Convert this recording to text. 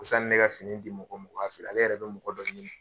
Ko sanni ne ka fini di mɔgɔ ma o k'a feere ale yɛrɛ bɛ mɔgɔ dɔ ɲini.